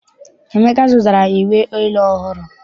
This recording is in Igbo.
Emeka zụtara uwe elu ọhụụ.